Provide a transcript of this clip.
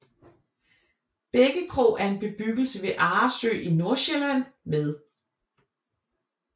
Bækkekrog er en bebyggelse ved Arresø i Nordsjælland med